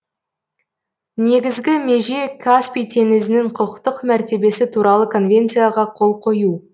негізгі меже каспий теңізінің құқықтық мәртебесі туралы конвенцияға қол қою